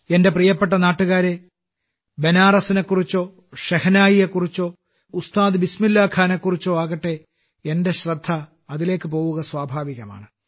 എന്റെ പ്രിയപ്പെട്ട നാട്ടുകാരേ ബനാറസിനെക്കുറിച്ചോ ഷെഹ്നായിയെക്കുറിച്ചോ ഉസ്താദ് ബിസ്മില്ലാ ഖാനെയെക്കുറിച്ചോ ആകട്ടെ എന്റെ ശ്രദ്ധ അതിലേക്ക് പോകുക സ്വാഭാവികമാണ്